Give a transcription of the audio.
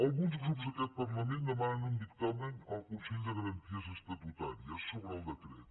alguns grups d’aquest parlament demanen un dictamen al consell de garanties estatutàries sobre el decret